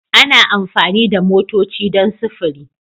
Ana amfani da motoci don sufuri